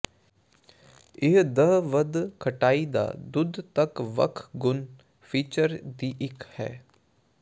ਇਹ ਦਹ ਵੱਧ ਖਟਾਈ ਦਾ ਦੁੱਧ ਤੱਕ ਵੱਖ ਗੁਣ ਫੀਚਰ ਦੀ ਇੱਕ ਹੈ